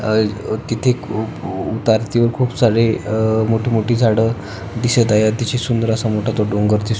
अह कित्येक अह उतरतीवर खुप सारे मोठी मोठी झाड़ दिसत आहेत किती सुंदर मोठा तो डोंगर दिसतोय.